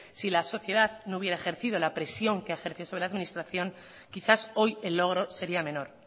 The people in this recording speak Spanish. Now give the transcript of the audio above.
si la sociedad no hubiera ejercicio la presión que ha ejercido sobre la administración quizás hoy el logro sería menor